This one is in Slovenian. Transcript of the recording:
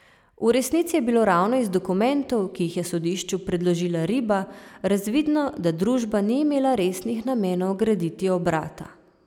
V resnici je bilo ravno iz dokumentov, ki jih je sodišču predložila Riba, razvidno, da družba ni imela resnih namenov graditi obrata.